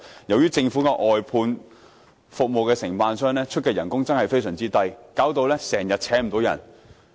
由於政府的外判服務承辦商所給予的工資真的非常低，導致經常聘請不到人手。